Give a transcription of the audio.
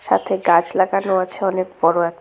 সাথে গাছ লাগানো আছে অনেক বড় এক--